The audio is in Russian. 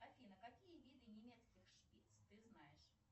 афина какие виды немецких шпиц ты знаешь